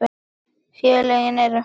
Félögin eru